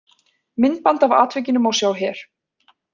Myndband af atvikinu má sjá hér